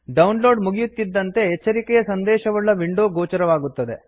down load ಮುಗಿಯುತ್ತಿದ್ದಂತೆ ಎಚ್ಚರಿಕೆಯ ಸಂದೇಶವುಳ್ಳ ವಿಂಡೋ ಗೋಚರವಾಗುತ್ತದೆ